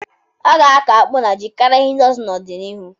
A ga-akọ akpụ na ji karịa ihe ndị ọzọ n'ọdịnihu.